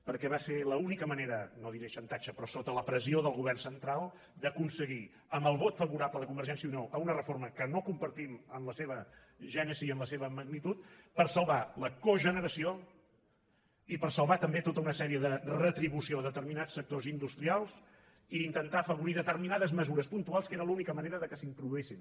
perquè va ser l’única manera no diré xantatge però sota la pressió del govern central d’aconseguir amb el vot favorable de convergència i unió a una reforma que no compartim en la seva gènesi ni en la seva magnitud salvar la cogeneració i salvar també tota una sèrie de retribucions a determinats sectors industrials i intentar afavorir determinades mesures puntuals que era l’única manera que s’introduïssin